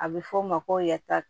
A bɛ f'o ma ko yata